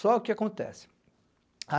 Só o que que acontece.